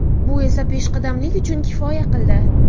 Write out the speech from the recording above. Bu esa peshqadamlik uchun kifoya qildi.